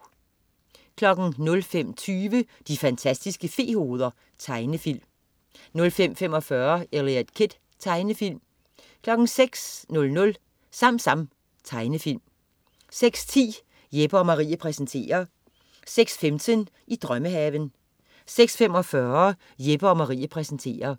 05.20 De fantastiske fe-hoveder. Tegnefilm 05.45 Eliot Kid. Tegnefilm 06.00 SamSam. Tegnefilm 06.10 Jeppe & Marie præsenterer 06.15 I drømmehaven 06.45 Jeppe & Marie præsenterer